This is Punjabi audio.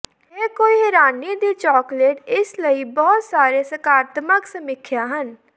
ਇਹ ਕੋਈ ਹੈਰਾਨੀ ਦੀ ਚੌਕਲੇਟ ਇਸ ਲਈ ਬਹੁਤ ਸਾਰੇ ਸਕਾਰਾਤਮਕ ਸਮੀਖਿਆ ਹਨ